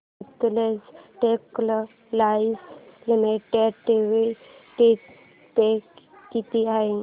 Sutlej textiles limited dividend pay किती आहे